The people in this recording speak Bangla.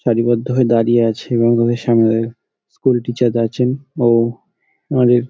সারিবদ্ধ হয়ে দাঁড়িয়ে আছে এবং তাদের সামনে স্কুল টিচার আছেন ও অনেক--